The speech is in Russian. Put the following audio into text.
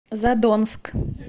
задонск